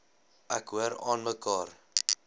ek hoor aanmekaar